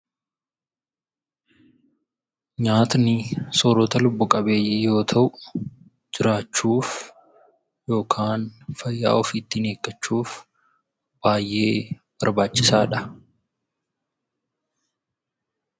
Nyaatni soorata lubbu qabeeyyii yoo ta'u, jiraachuuf yookaan fayyaa ofii ittiin eeggachuuf baay'ee barbaachisaadha.